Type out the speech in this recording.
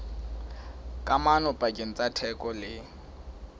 kamano pakeng tsa theko le